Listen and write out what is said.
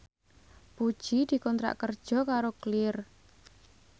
Puji dikontrak kerja karo Clear